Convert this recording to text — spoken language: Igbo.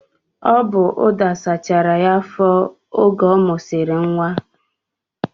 Ọ bu ụda sachara ya afọ oge ọ musiri nwa